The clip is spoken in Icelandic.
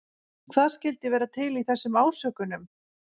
Hvað skyldi vera til í þessum ásökunum?